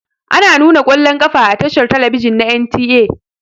Ana nuna ƙwallon ƙafa a tashar talabijin na NTA.